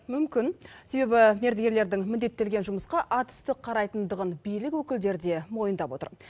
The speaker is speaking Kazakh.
мүмкін себебі мердігерлердің міндеттелген жұмысқа атүсті қарайтындығын билік өкілдері де мойындап отыр